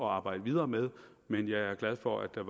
arbejde videre med men jeg er glad for at der